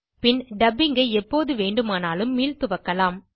பின் dubbing ஐ எப்போது வேண்டுமானாலும் மீள்துவக்கலாம்